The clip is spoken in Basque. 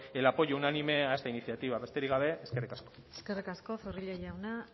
el apoyo unánime a esta iniciativa besterik gabe eskerrik asko eskerrik asko zorrilla jauna